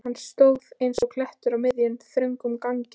Hann stóð eins og klettur á miðjum, þröngum ganginum.